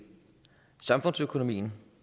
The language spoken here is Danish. samfundsøkonomien